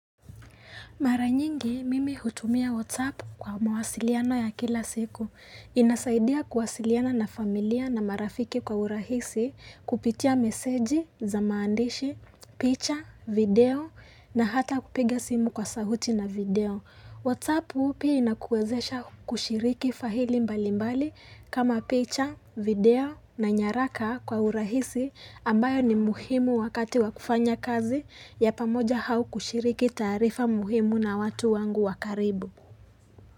Mara nyingi mimi hutumia WhatsApp kwa mawasiliano ya kila siku. Inasaidia kuwasiliana na familia na marafiki kwa urahisi kupitia meseji za maandishi, picha, video na hata kupiga simu kwa sauti na video. WhatsApp pia inakuwezesha kushiriki faili mbali mbali kama picha, video na nyaraka kwa urahisi ambayo ni muhimu wakati wa kufanya kazi ya pamoja au kushiriki taarifa muhimu na watu wangu wa karibu.